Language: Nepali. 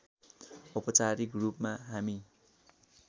औपचारिक रूपमा हामी